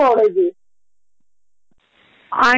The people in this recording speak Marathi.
अगदी खर आहे मला हे पटतय